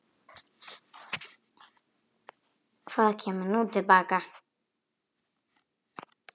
Hvað kemur nú til baka?